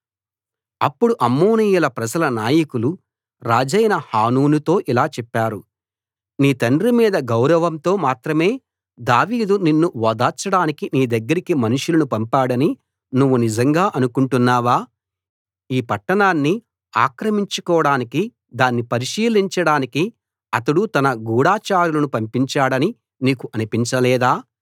అప్పుడు అమ్మోనీయుల ప్రజల నాయకులు రాజైన హానూనుతో ఇలా చెప్పారు నీ తండ్రి మీద గౌరవంతో మాత్రమే దావీదు నిన్ను ఓదార్చడానికి నీ దగ్గరికి మనుషులను పంపాడని నువ్వు నిజంగా అనుకుంటున్నావా ఈ పట్టణాన్ని ఆక్రమించుకోడానికి దాన్ని పరిశీలించడానికి అతడు తన గూఢచారులను పంపించాడని నీకు అనిపించలేదా